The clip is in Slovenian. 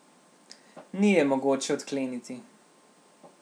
Ni je mogoče odkleniti.